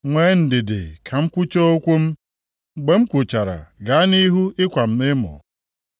Nwee ndidi ka m kwuchaa okwu m, mgbe m kwuchara, gaa nʼihu ịkwa m emo.